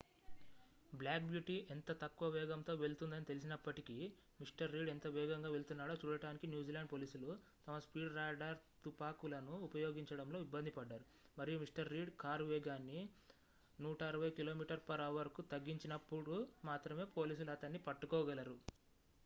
black beauty ఎంత తక్కువ వేగంతో వెళుతుందని తెలిసినప్పటికీ మిస్టర్ రీడ్ ఎంత వేగంగా వెళ్తున్నాడో చూడటానికి న్యూజిలాండ్ పోలీసులు తమ స్పీడ్ రాడార్ తుపాకులను ఉపయోగించడంలో ఇబ్బంది పడ్డారు మరియు మిస్టర్ రీడ్‌ కారు వేగాన్ని 160km/hకు తగ్గించినప్పుడు మాత్రమే పోలీసులు అతన్ని పట్టుకోగలరు